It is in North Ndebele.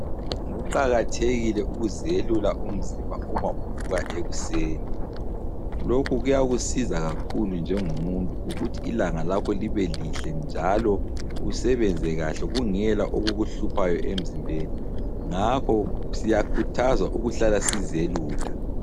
Kuqakathekile ukuzelula umzimba uma uvuka ekuseni. Lokhu kuyakusiza kakhulu njengomuntu ukuthi ilanga lakho libe lihle njalo usebenze kahle kungela okukuhluphayo emzimbeni. Ngakho siyakhuthazwa ukuhlala sizelula.